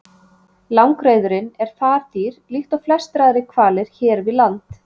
Langreyðurin er fardýr líkt og flestir aðrir hvalir hér við land.